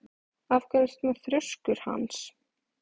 Af hverju ertu svona þrjóskur, Hans?